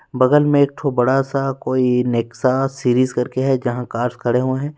बगल में एकठो बड़ा सा कोई नेक्सा सीरीज करके है जहां कार खड़े हुए हैं।